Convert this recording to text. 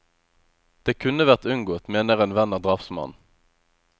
Det kunne vært unngått, mener en venn av drapsmannen.